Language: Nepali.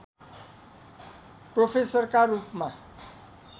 प्रोफेसरका रूपमा